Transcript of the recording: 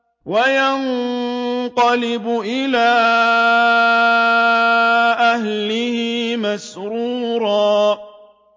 وَيَنقَلِبُ إِلَىٰ أَهْلِهِ مَسْرُورًا